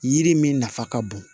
Yiri min nafa ka bon